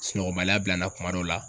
Sunɔgɔla bila n na kuma dɔw la.